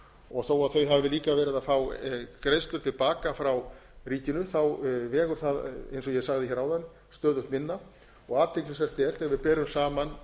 og þó að þau hafi líka verið að fá greiðslur til baka frá ríkinu þá vegur það eins og ég sagði áðan stöðugt minna og athyglisvert er þegar við berum saman